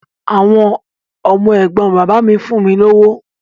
Àwọn ọmọ ẹ̀gbọ́n bàbá mi fún mi lówó.